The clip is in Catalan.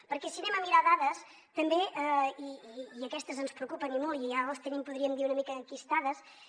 perquè si anem a mirar dades també i aquestes ens preocupen i molt i ja les tenim podríem dir una mica enquistades